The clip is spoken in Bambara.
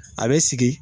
A bɛ sigi